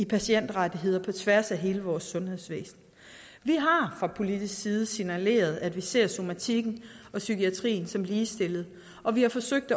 patientrettigheder på tværs af hele vores sundhedsvæsen vi har fra politisk side signaleret at vi ser somatikken og psykiatrien som ligestillede og vi har forsøgt